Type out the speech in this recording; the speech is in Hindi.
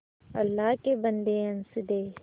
अल्लाह के बन्दे हंस दे